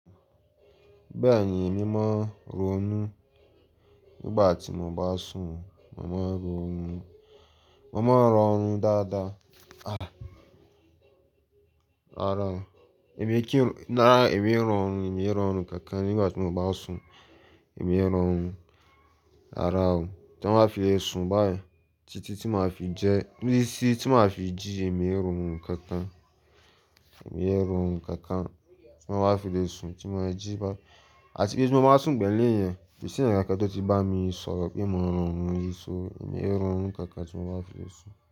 Bẹ́ẹ̀ni, èmi máa ń ronú. Nígbà tí mo bá sùn, mo màá ro orun. Mo máa ń rọọrun dáadáa. Ah! Rárá o, èmi kí ń r-- rárá èmi ń ro orun, èmi ń ro orun kankan nígbà tí mo bá sùn. Èmi ń ro orun. Rárá o, tí wọ́n bá fi le sùn báyìí, títí tí màá fi jẹ́, títí tí màá fi jí, èmi ń ro orun kankan. Èmi ń ro orun kankan tí wọ́n bá fi le sùn, tí mo yii bá. Àti ìgbà tí mo máa sùn gbẹ́lẹ́ yẹn, òṣìṣẹ́ yẹn kankan tó ti bá mi sọ̀rọ̀ pé màá ro orun yii sọ́, èmi ń ro orun kankan tí wọ́n bá fi le sùn.